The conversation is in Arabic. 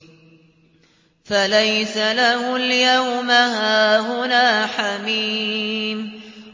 فَلَيْسَ لَهُ الْيَوْمَ هَاهُنَا حَمِيمٌ